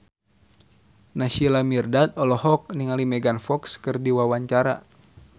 Naysila Mirdad olohok ningali Megan Fox keur diwawancara